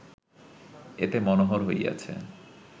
এত মনোহর হইয়াছে